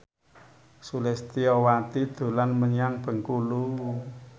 Sulistyowati dolan menyang Bengkulu